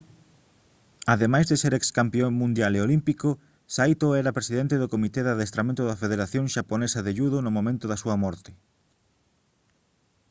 ademais de ser excampión mundial e olímpico saito era presidente do comité de adestramento da federación xaponesa de judo no momento da súa morte